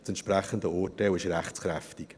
Das entsprechende Urteil ist rechtskräftig.